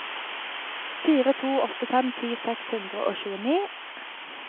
fire to åtte fem ti seks hundre og tjueni